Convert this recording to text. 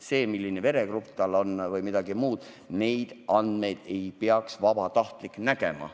Seda, milline veregrupp tal on, või midagi muud – neid andmeid ei peaks vabatahtlik nägema.